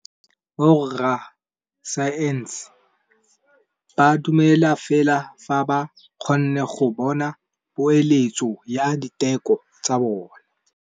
Borra saense ba dumela fela fa ba kgonne go bona poeletsô ya diteko tsa bone.